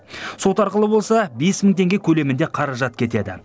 сот арқылы болса бес мың теңге көлемінде қаражат кетеді